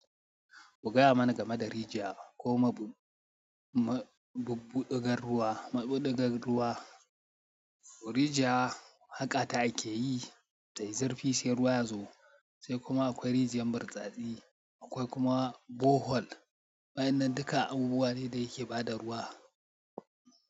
Kuga ya mana game da rijiya ko mabuɓɓuɗugar ruwa. Mabubuɗugar ruwa, rijiya haka ta ake yi, tayi zurfi sai ruwa ya zo. Sai kuma akwai rijiyar burtsatsi, akwai kuma borehole. Wainnan duka abubuwa ne da yake ba da ruwa.